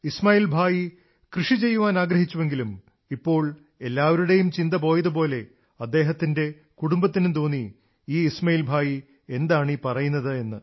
ഇസ്മാഇൽ ഭായി കൃഷി ചെയ്യാനാഗ്രഹിച്ചുവെങ്കിലും ഇപ്പോൾ എല്ലാവരുടെയും ചിന്ത പോയതുപോലെ അദ്ദേഹത്തിന്റെ കുടുംബത്തിനും തോന്നി ഈ ഇസ്മാഇൽ ഭായി എന്താണീ പറയുന്നതെന്ന്